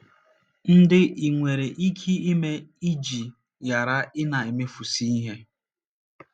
ndị i nwere ike ime iji ghara ịna - emefusị ihe?